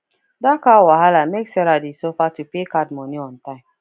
that car wahala make sarah dey suffer to pay card money on time